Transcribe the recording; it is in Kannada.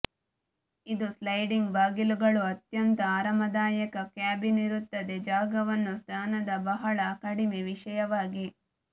ಇದು ಸ್ಲೈಡಿಂಗ್ ಬಾಗಿಲುಗಳು ಅತ್ಯಂತ ಆರಾಮದಾಯಕ ಕ್ಯಾಬಿನ್ ಇರುತ್ತದೆ ಜಾಗವನ್ನು ಸ್ನಾನದ ಬಹಳ ಕಡಿಮೆ ವಿಶೇಷವಾಗಿ